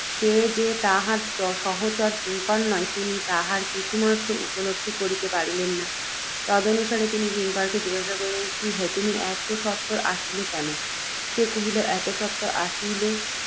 সে যে তাহার সহচর কিঙ্কর নয়, তিনি তাহার কিছুমাত্র উপলব্ধি করিতে পারলেন না। তদনুসারে, তিনি কিঙ্করকে জিজ্ঞাসিলেন, কি হে, তুমি এত সত্বর আসিলে কেন। সে কহিল, এত সত্বর আসিলে,